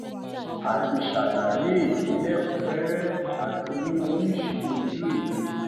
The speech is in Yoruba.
a ti ṣàlàyé èyí lẹkùún rẹrẹ àti ní oríṣi ojú ewé